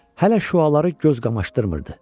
Hələ şüaları göz qamaşdırmırdı.